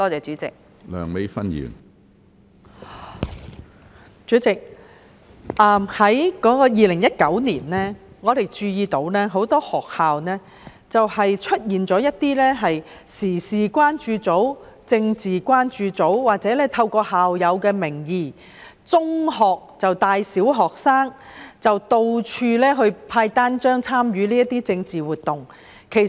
主席，我們注意到在2019年，很多學校出現了一些時事關注組、政治關注組，也有中學生借校友的名義帶小學生到處派發單張，參與政治活動。